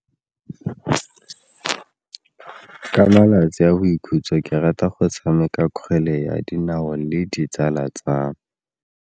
Ka malatsi a boikhutso ke rata go tshameka kgwele ya dinao le ditsala tsa me.